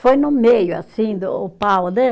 Foi no meio, assim do, o pau, né?